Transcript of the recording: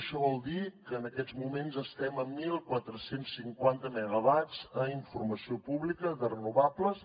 això vol dir que en aquests moments estem amb catorze cinquanta megawatts a informació pública de renovables